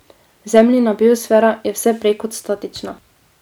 Zemljina biosfera je vse prej kot statična.